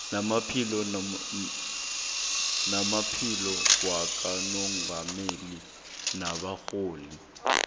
namaphini wakamongameli nabarholi